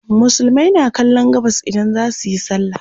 musulmai na kallon gabas idan zasuyi sallah